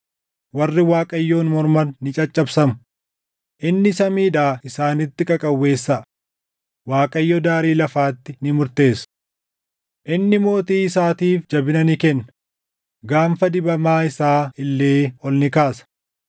warri Waaqayyoon morman ni caccabsamu. Inni samiidhaa isaanitti qaqawweessaʼa. Waaqayyo daarii lafaatti ni murteessa. “Inni mootii isaatiif jabina ni kenna; gaanfa dibamaa isaa illee ol ni kaasa.”